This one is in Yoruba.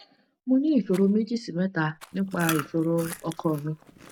mo ni isoro meji si meta nipa isoro oko mi